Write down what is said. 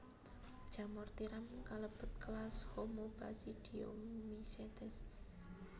Jamur tiram kalebet kelas Homobasidiomycetes